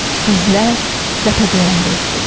İzlər ləpə döyəndə itirdi.